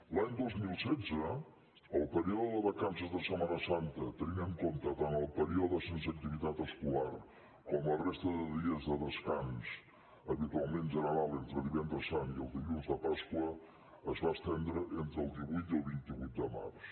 l’any dos mil setze el període de vacances de setmana santa tenint en compte tant el període sense activitat escolar com la resta de dies de descans habitualment general entre divendres sant i el dilluns de pasqua es va estendre entre el divuit i el vint vuit de març